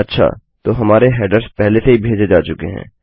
अच्छा तो हमारे हेडर्स पहले से ही भेजे जा चुके हैं